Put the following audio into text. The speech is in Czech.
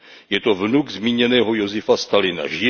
Je to vnuk zmíněného Josifa Stalina.